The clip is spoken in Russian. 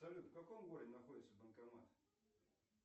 салют в каком городе находится банкомат